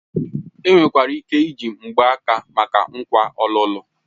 Enwekwara ike iji mgbaaka maka nkwa ọlụlụ.